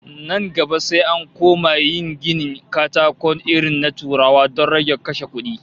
Nan gaba sai an koma yin ginin katakon irin na Turawa don rage kashe kudi